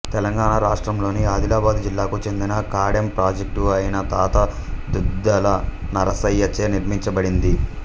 తెలంగాణ రాష్ట్రంలోని ఆదిలాబాదు జిల్లాకు చెందిన కాడెం ప్రాజెక్టు ఆయన తాత దుద్దల నరసయ్య చే నిర్మించబడింది